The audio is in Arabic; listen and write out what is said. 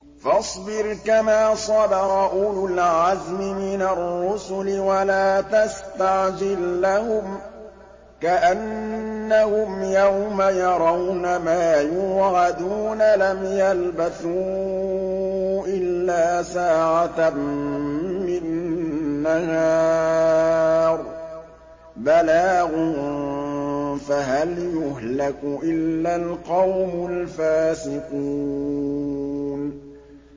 فَاصْبِرْ كَمَا صَبَرَ أُولُو الْعَزْمِ مِنَ الرُّسُلِ وَلَا تَسْتَعْجِل لَّهُمْ ۚ كَأَنَّهُمْ يَوْمَ يَرَوْنَ مَا يُوعَدُونَ لَمْ يَلْبَثُوا إِلَّا سَاعَةً مِّن نَّهَارٍ ۚ بَلَاغٌ ۚ فَهَلْ يُهْلَكُ إِلَّا الْقَوْمُ الْفَاسِقُونَ